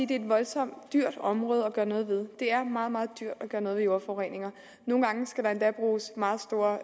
det er et voldsomt dyrt område at gøre noget ved det er meget meget dyrt at gøre noget ved jordforureninger nogle gange skal der endda bruges meget store